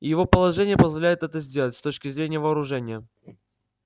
и его положение позволяет это сделать с точки зрения вооружения